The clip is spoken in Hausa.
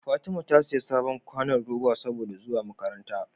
Fatima ta siya sabon kwanon roba saboda zuwa makaranta